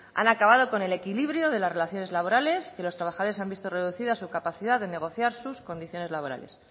han acabado con el equilibrio de las relaciones laborales que los trabajadores han visto reducida su capacidad de negociar sus condiciones laborales